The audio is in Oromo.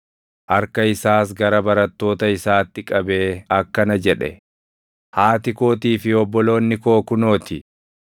Harka isaas gara barattoota isaatti qabee akkana jedhe; “Haati kootii fi obboloonni koo kunoo ti.